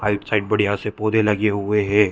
Side side बढ़िया से पौधे लगे हुए है।